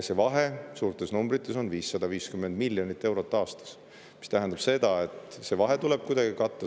See vahe suurtes numbrites on 550 miljonit eurot aastas, mis tähendab seda, et see vahe tuleb kuidagi katta.